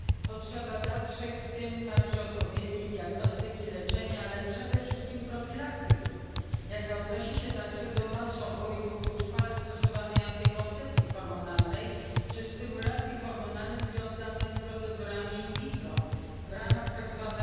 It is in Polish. potrzeba dalszych, w tym także odpowiedniej diagnostyki, leczenia, ale przede wszystkim profilaktyki, jaka odnosi się także do masowo i długotrwale stosowanej antykoncepcji hormonalnej czy stymulacji hormonalnej związanej z procedurami in vitro w ramach tzw.